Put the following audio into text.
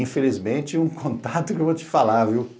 Infelizmente, um contato que eu vou te falar, viu?